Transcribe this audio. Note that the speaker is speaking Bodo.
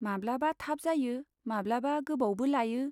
माब्लाबा थाब जायो माब्लाबा गोबावबो लायो।